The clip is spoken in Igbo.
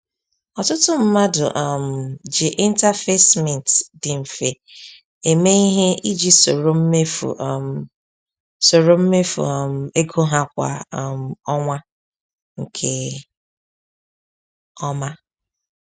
Ọtụtụ mmadụ um ji interface Mint dị mfe eme ihe iji soro mmefu um soro mmefu um ego ha kwa um ọnwa nke ọma.